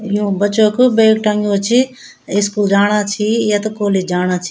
यु बच्चो क बैग टग्युं च स्कूल जाना छि या त कॉलेज जाना छि।